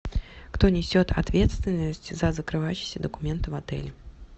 кто несет ответственность за закрывающиеся документы в отеле